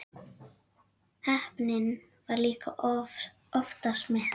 Heppnin var líka oftast með.